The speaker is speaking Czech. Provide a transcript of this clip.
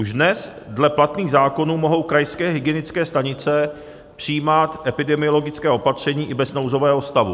Už dnes dle platných zákonů mohou krajské hygienické stanice přijímat epidemiologická opatření i bez nouzového stavu.